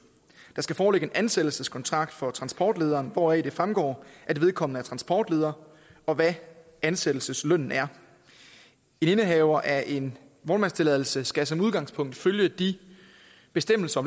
der skal foreligge en ansættelseskontrakt for transportlederen hvoraf det fremgår at vedkommende er transportleder og hvad ansættelseslønnen er en indehaver af en vognmandstilladelse skal som udgangspunkt følge de bestemmelser